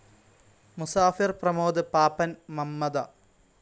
Musafir Pramod Pappan Mamta